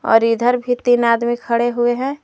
और इधर भी तीन आदमी खड़े हुए हैं।